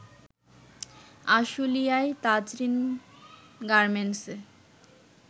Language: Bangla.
আশুলিয়ায় তাজরীন গার্মেন্টসে